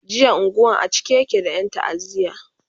jiya unguwan a cike yake da Yan ta'aziya